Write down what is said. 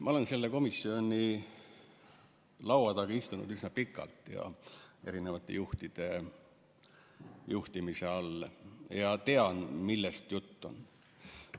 Ma olen selle komisjoni laua taga istunud üsna pikalt ja erinevate juhtide juhtimise all, seega ma tean, millest juttu on.